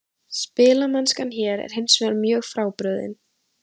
Spilamennskan hér er hinsvegar mjög frábrugðin.